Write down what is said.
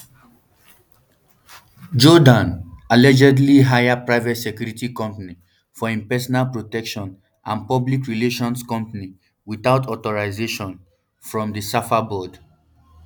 jordaan um allegedly hire private security company for im personal protection and public relations company witout authorisation um from di safa board